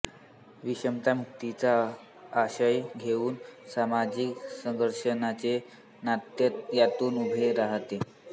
विषमतामुक्तीचा आशय घेऊन सामाजिक संघर्षाचे नाट्य यातून उभे राहते